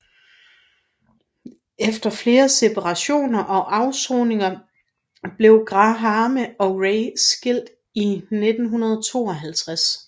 Efter flere separationer og afsoninger blev Grahame og Ray skilt i 1952